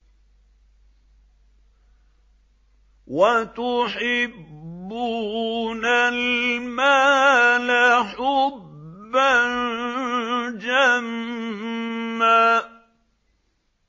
وَتُحِبُّونَ الْمَالَ حُبًّا جَمًّا